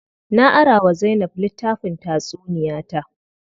Na ara wa Zainab litttafin tatsuniya ta.